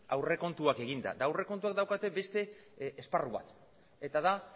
aurrekontuak eginda eta aurrekontuak daukate beste esparru bat eta da